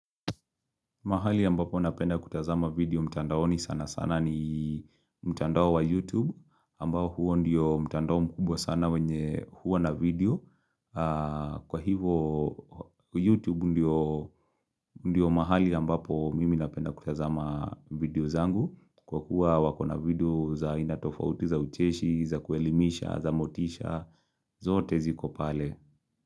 Mahali ambapo napenda kutazama video mtandaoni sana sana ni mtandao wa YouTube, ambao huo ndio mtandao mkubwa sana wenye huwa na video. Kwa hivo YouTube ndio mahali ambapo mimi napenda kutazama video zangu, kwa kuwa wakona video za ainatofauti za ucheshi, za kuelimisha, za motisha, zote zikopale.